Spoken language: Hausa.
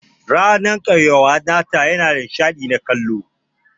Ranan kauyawa nata yana da nishadi na kallo.